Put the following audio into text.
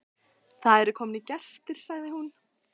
Það eru komnir gestir, sagði hún.